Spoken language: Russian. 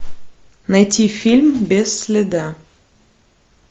найти фильм без следа